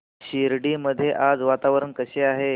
शिर्डी मध्ये आज वातावरण कसे आहे